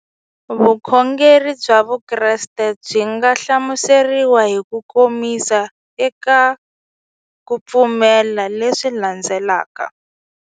Vukhongeri bya Vukreste byi nga hlamuseriwa hi kukomisa eka ku pfumela leswi landzelaka.